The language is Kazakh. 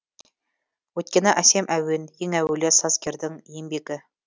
өйткені әсем әуен ең әуелі сазгердің еңбегі